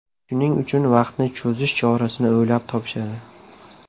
Shuning uchun vaqtni cho‘zish chorasini o‘ylab topishadi.